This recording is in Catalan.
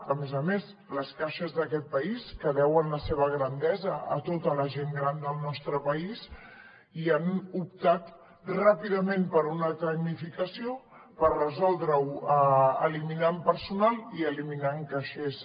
a més a més les caixes d’aquest país que deuen la seva grandesa a tota la gent gran del nostre país i han optat ràpidament per una tecnificació per resoldre ho eliminant personal i eliminant caixers